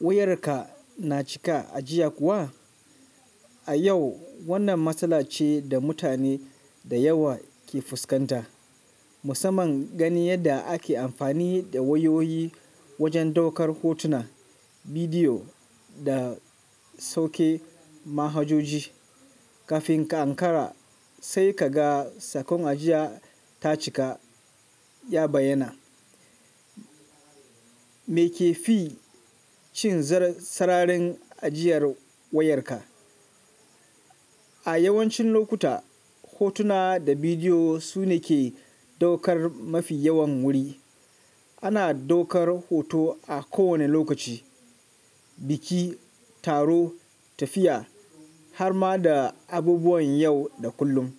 Wayarka na cika ajiya kuwa? A yau wannan matsala ce da mutane da yawa ke fuskanta. Musamman gani yadda ake amfani da wayoyi wajen ɗaukar hotuna, bidiyo da sauke manhajoji. Kafin ka ankara sai ka ga sakon ajiya ta cika ya bayyana. Me ke fi cin sararin ajiyar wayarka? A yawancin lokuta hotuna da bidiyo su ne ke ɗaukar mafi yawan wuri. Ana ɗaukar hoto a kowane lokaci, biki, taro, tafiya har ma da abubuwan yau da kullum.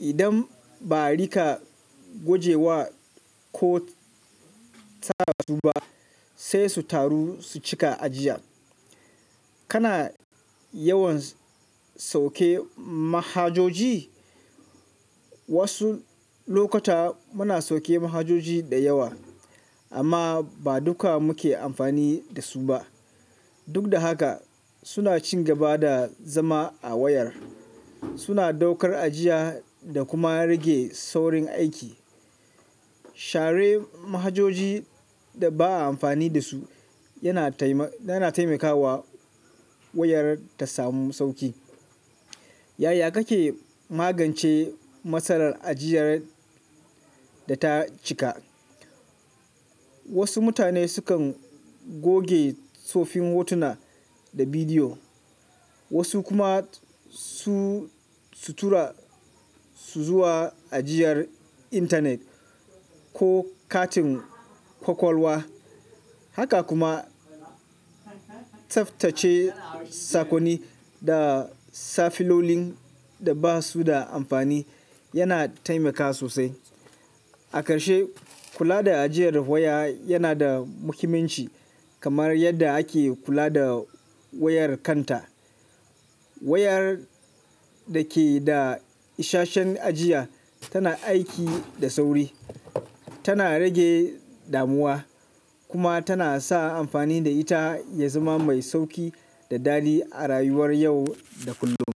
Idan ba ari ka goge wa ko tsara su ba sai su taru su cika ajiyar. Kana yawan sauke manhajoji? Wasu lokuta muna sauke manhajoji da yawa amma ba duka muke amfani da su ba. Duk da haka suna cin gaba da zama a wayar, suna ɗaukar ajiya da kuma rage saurin aiki. Share manhajoji da ba a amfani da su yana taimakawa wayar ta samu sauƙi. Yaya kake magance matsalar ajiyar da ta cika? Wasu mutane sukan goge tsoffin hotuna da bidiyo, wasu kuma su tura su zuwa ajiyar intanet ko katin kwakwalwa. Haka kuma tsaftace sakonni da safilolin da ba su da amfani yana taimakawa sosai. A ƙarshe, kula da ajiyar waya yana da muhimmanci kamar yadda ake kula da wayar kanta. Wayar da ke da ishasshen ajiya tana aiki da sauri, tana rage damuwa kuma tana sa amfani da ita ya zama mai sauƙi da daɗi a rayuwar yau da kullum.